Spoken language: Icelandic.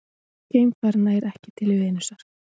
Geimfar nær ekki til Venusar